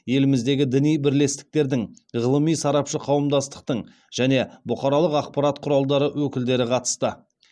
еліміздегі діни бірлестіктердің ғылыми сарапшы қауымдастықтың және бұқаралық ақпарат құралдары өкілдері қатысты